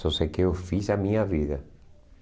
Só sei que eu fiz a minha vida.